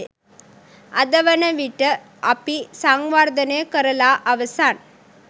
අද වන විට අපි සංවර්ධනය කරලා අවසන්.